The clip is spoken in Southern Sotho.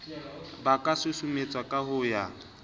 ba ka susumetswa ho ya